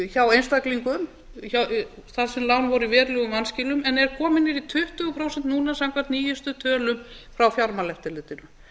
hjá einstaklingum þar sem lán voru í verulegum vanskilum en eru komin niður í tuttugu prósent núna samkvæmt nýjustu tölum frá fjármálaeftirlitinu